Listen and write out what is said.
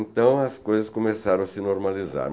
Então as coisas começaram a se normalizar.